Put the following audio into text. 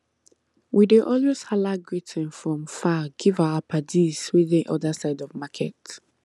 we dey always hala greeting from far give our paddies wey dey other side of market